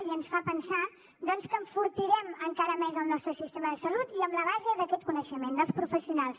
i ens fa pensar doncs que enfortirem encara més el nostre sistema de salut i amb la base d’aquest coneixement dels professionals